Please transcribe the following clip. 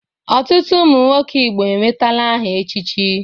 Ọtụtụ ụmụ nwoke Igbo enwetala aha echichi.